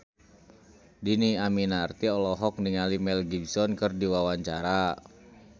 Dhini Aminarti olohok ningali Mel Gibson keur diwawancara